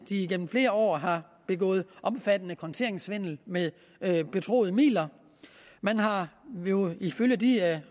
igennem flere år har begået omfattende konteringssvindel med betroede midler man har jo ifølge de